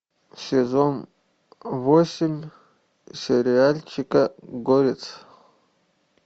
сезон восемь сериальчика горец